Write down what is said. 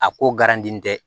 A ko garantilen tɛ